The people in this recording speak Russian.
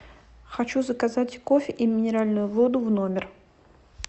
хочу заказать кофе и минеральную воду в номер